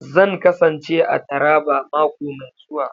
Zan kasance a Taraba mako mai zuwa